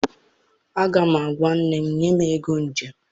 Aga m agwa nne m, nye m ego njem!